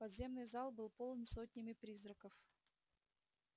подземный зал был полон сотнями призраков